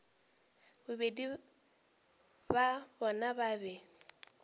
bobedi bja bona ba be